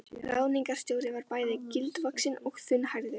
Ráðningarstjóri var bæði gildvaxinn og þunnhærður.